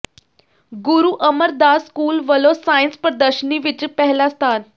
ਗੁਰੂ Amardas school ਵੱਲੋਂ science ਪ੍ਰਦਰਸ਼ਨੀ ਵਿੱਚ ਪਹਿਲਾ ਸਥਾਨ